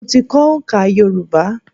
Mo ti kọ́ oǹká Yorùbá.